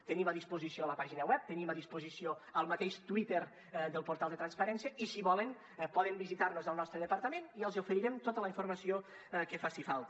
tenim a disposició la pàgina web tenim a disposició el mateix twitter del portal de transparència i si volen poden visitar nos al nostre departament i els oferirem tota la informació que faci falta